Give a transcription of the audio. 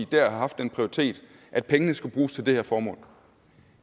dér har haft den prioritet at pengene skulle bruges til det her formål